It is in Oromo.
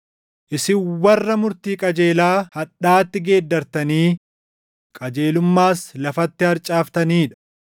Isin warra murtii qajeelaa hadhaatti geeddartanii qajeelummaas lafatti harcaaftanii dha.